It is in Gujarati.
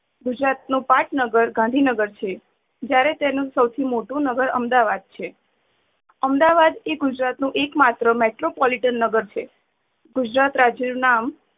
ગુજરાત નું પાટનગર ગાંધીનગર છે. જયારે તેનું શોથી મોટું નગર અમદાવાદ છે અમદાવાદ એ ગુજરાત નું એક માત્ર metropolitan નગર છે. ગુજરાત રાજય નું નામ